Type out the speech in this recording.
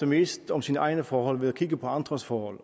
mest om sine egne forhold ved at kigge på andres forhold